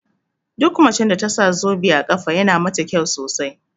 Duk macen da tasa zobe a ƙafa yana mata kyau sosai